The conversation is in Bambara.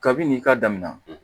Kabi nin ka damina